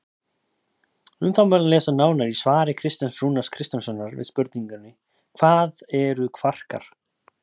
Um það má lesa nánar í svari Kristjáns Rúnars Kristjánssonar við spurningunni Hvað eru kvarkar?